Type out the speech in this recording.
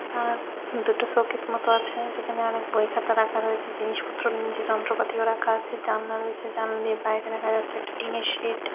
আর দুটো শোকেস মত আছে যেখানে অনেক বই খাতা রাখা রয়েছে জিনিসপত্র নিয়ে নিজে যন্ত্রপাতিও রাখা আছে জানলে রয়েছে জানলার বাইরে দেখা যাচ্ছে একটা টিনের সেইড ।